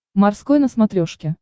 морской на смотрешке